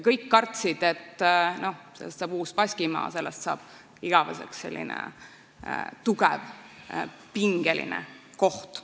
Kõik kartsid, et sellest saab uus Baskimaa, et sellest saab igaveseks selline tugevalt pingeline koht.